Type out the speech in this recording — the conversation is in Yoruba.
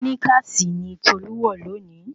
Síníkàsì ni Tolú wọ̀ lónìí